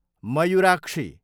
Mayurakshi